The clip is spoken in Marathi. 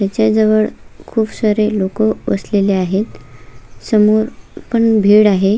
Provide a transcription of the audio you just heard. त्याच्या जवळ खुप सारे लोकं बसलेले आहे समोर पण भीड आहे.